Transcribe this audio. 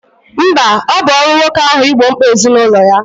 Mba, ọ bụ ọrụ nwoke ahụ igbo mkpa ezinụlọ ya